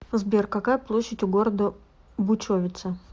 сбер какая площадь у города бучовице